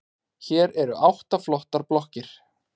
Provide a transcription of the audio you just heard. Hér eru átta flottar blokkir.